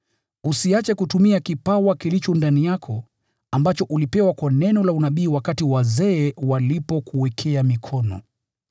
Usiache kutumia kipawa kilicho ndani yako, ambacho ulipewa kwa neno la unabii wakati wazee walikuwekea mikono.